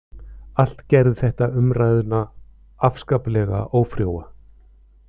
Allt gerði þetta umræðuna afskaplega ófrjóa